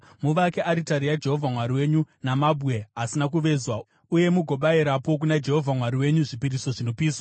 Muvake aritari yaJehovha Mwari wenyu namabwe asina kuvezwa uye mugobayirapo kuna Jehovha Mwari wenyu zvipiriso zvinopiswa.